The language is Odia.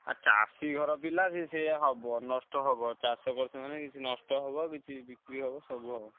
ଆ ଚାଷି ଘର ପିଲା ସେ ହବ ନଷ୍ଟ ହବ। ଚାଷ କରୁଛୁ ମାନେ କିଛି ନଷ୍ଟ ହବ କିଛି ବିକ୍ରି ହବ ସବୁ ହବ।